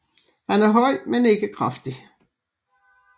Han er høj men ikke kraftig